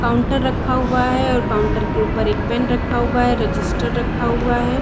Counter रखा हुआ है और काउंटर के ऊपर एक पेन रखा हुआ है रजिस्टर रखा हुआ है।